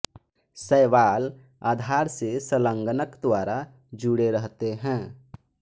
शैवाल आधार से संलग्नक द्वारा जुड़े रहते हैं